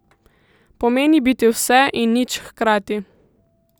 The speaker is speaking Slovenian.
Pomeni biti vse in nič hkrati.